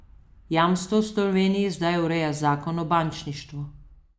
Jamstva v Sloveniji zdaj ureja zakon o bančništvu.